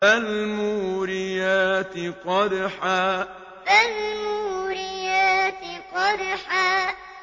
فَالْمُورِيَاتِ قَدْحًا فَالْمُورِيَاتِ قَدْحًا